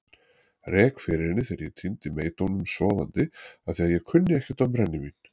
Rek fyrir henni þegar ég týndi meydómnum sofandi afþvíað ég kunni ekkert á brennivín.